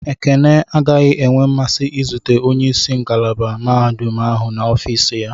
Ekene agaghị enwe mmasị izute onye isi ngalaba mahadum ahụ na ofis ya.